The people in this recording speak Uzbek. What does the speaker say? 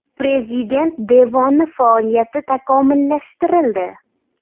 Prezident devoni faoliyati takomillashtirildi.